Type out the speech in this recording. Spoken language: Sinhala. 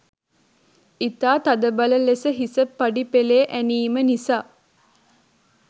ඉතා තදබල ලෙස හිස පඩි පෙළේ ඇනීම නිසා